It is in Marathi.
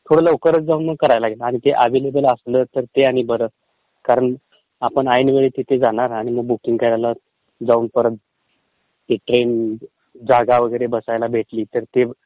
थोडं लवकरचं जाऊन करायला लागेल, आधी वगैरे असलं तर मग ते परत कारण आपण ऐनवेळी तिथे जाणार आणि जाऊन परत ती ट्रेन जागा वगैरे बसायला भेटली तर ते